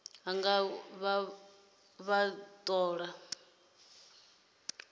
nga u vha vha tholiwa